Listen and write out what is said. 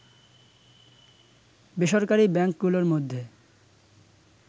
বেসরকারি ব্যাংকগুলোর মধ্যে